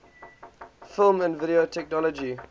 film and video technology